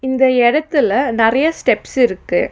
இந்த எடத்துல நெறையா ஸ்டெப்ஸ் இருக்கு.